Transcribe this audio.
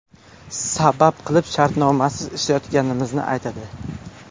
Sabab qilib shartnomasiz ishlayotganimizni aytadi.